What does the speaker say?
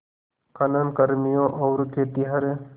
खनन कर्मियों और खेतिहर